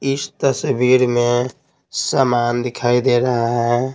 इस तस्वीर में सामान दिखाई दे रहा है।